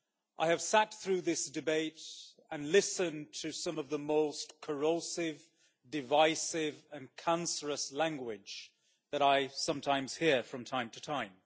I have sat through this debate and listened to some of the most corrosive, divisive and cancerous language that I sometimes hear from time to time.